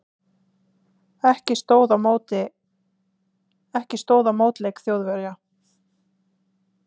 Ekki stóð á mótleik Þjóðverja.